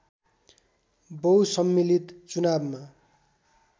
बहुसम्मिलित चुनावमा